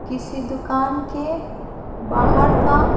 किसी दुकान के बाहर का --